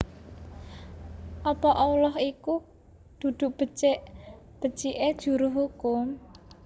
Apa Allah iku dudu becik becike juru hukum